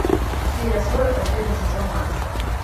серия сорок последний сезон марс